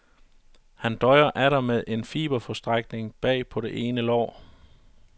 Han døjer atter med en fiberforstrækning bag på det ene lår.